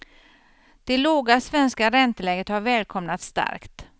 Det låga svenska ränteläget har välkomnats starkt.